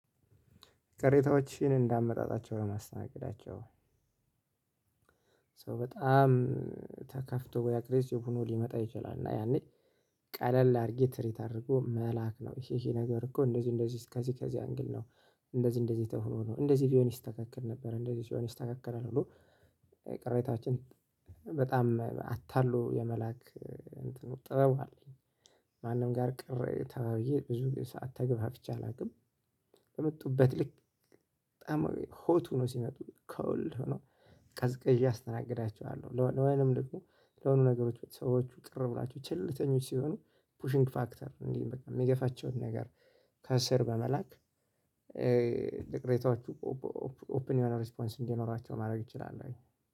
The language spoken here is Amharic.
ቅሬታዎችን እንዳመጣጣቸው ነው የማስተናገዳቸው። በጣም ተከፍቶ ወይ አግሪሲቭ ሆኖ ሊመጣ ይችላል። እና ያኔ ቀለል አድርጌ ትሪት አድርጎ መላክ ነው። ይሄ ይሄ ነገር እኮ እንደዚህ እንደዚህ ከዚህ ከዚህ አንግል ነው። እንደዚህ እንደዚህ ተሁኖ ነው እንደዚህ ቢሆን ይስተካከል ነበር እንደዚህ ሲሆን ይስተካከላል ብሎ። ቅሬታዎችን በጣም አታሎ የመላክ ጥበብ አለኝ። ማንም ጋር ቅር ተባይዬ ብዙ ሰዓት ተገፋፍቼ አላውቅም። በመጡበት ልክ በጣም ሆት ሆነው ሲመጡ ኮልድ ሆኖ ቀዝቅዥ አስተናግዳቸዋለሁ። ለ ወይንም ደግሞ ለሆኑ ነገሮች ሰዎች ቅርብ ናቸው። ቸልተኞች ሲሆኑ ፑሽንግ ፋክተር እንዲህ በቃ የሚገፋቸውን ነገር ከስር በመላክ። ለቅሬታዎቹ ኦፕን የሆነ ሪስፖንስ እንዲኖራቸው ማድረግ እችላለሁኝ።